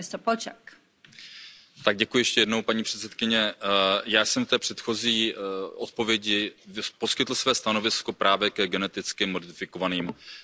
Paní předsedající, já jsem v té předchozí odpovědi poskytl své stanovisko právě ke geneticky modifikovaným organismům, potravinám.